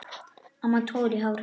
Annar togar í hár hennar.